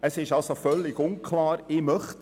Es ist also völlig uneinheitlich.